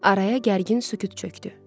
Araya gərgin sükut çöktü.